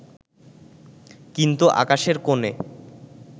কিন্তু আকাশের কোণে